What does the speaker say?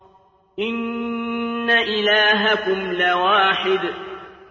إِنَّ إِلَٰهَكُمْ لَوَاحِدٌ